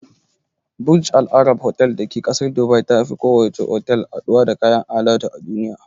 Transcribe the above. Burj al Arab otal da ke ƙasar Dubai tafi kowace otal haɗuwa da kayan alatu a duniya.